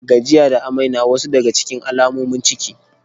Gajiya da amai na wasu daga cikin alamomin ciki.